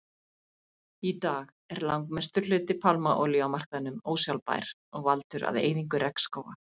Í dag er langmestur hluti pálmaolíu á markaðnum ósjálfbær og valdur að eyðingu regnskóga.